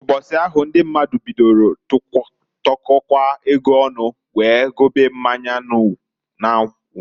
Mbọsị ahụ ndị mmadụ bidolu tụkọwa ego ọnụ wee gobe mmanya n'anwụ.